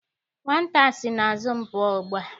Nwata a sị n'azụ m pụọ ugbua!